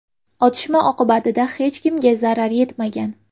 Otishma oqibatida hech kimga zarar yetmagan.